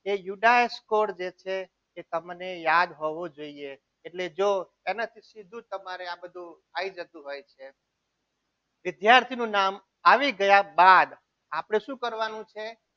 જે યુવરાજ code જે છે એ તમને યાદ હોવું જોઈએ એટલે જો તેનાથી સીધું જ આ બધું આવી જતું હોય છે વિદ્યાર્થીનું નામ આવી ગયા બાદ આપણે શું કરવાનું છે?